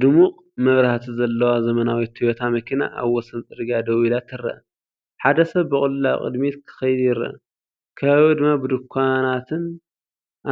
ድሙቕ መብራህቲ ዘለዋ ዘመናዊት ቶዮታ መኪና ኣብ ወሰን ጽርግያ ደው ኢላ ትርአ። ሓደ ሰብ ብቐሊሉ ኣብ ቅድሚት ክኸይድ ይረአ፡ ከባቢኡ ድማ ብድኳናትን